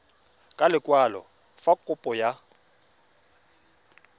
ka lekwalo fa kopo ya